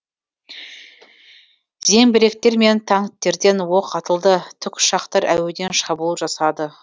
зеңбіректер мен танктерден оқ атылды тікұшақтар әуеден шабуыл жасады